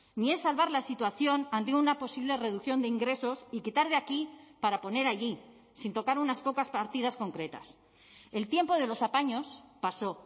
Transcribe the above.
ni es salvar la situación ante una posible reducción de ingresos y quitar de aquí para poner allí sin tocar unas pocas partidas concretas el tiempo de los apaños pasó